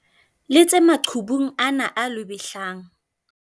letse maqhubung ana a lwebehlang.